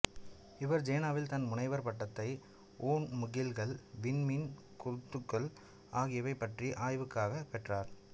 இவர் ஜேனாவில் தன் முனைவர் பட்ட்த்தை ஒண்முகில்கல் விண்மீன் கொத்துகள் ஆகியவை பற்றிய ஆய்வுக்காக பெற்றார்